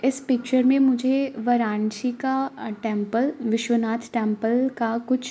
इस पिक्चर में मुझे वाराणसी का टेम्पल विश्वनाथ टेम्पल का कुछ --